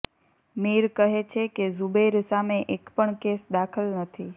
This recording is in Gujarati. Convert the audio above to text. મીર કહે છે કે ઝુબૈર સામે એક પણ કેસ દાખલ નથી